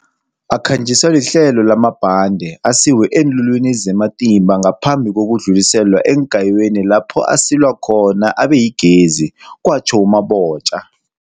Akhanjiswa lihlelo lamabhande asiwe eenlulwini ze-Matimba ngaphambi kokudluliselwa eengayweni lapho asilwa khona abeyigezi, kwatjho u-Mabotja.